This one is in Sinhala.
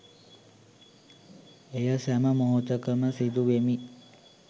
එය සැම මොහොතකම සිදු වෙමි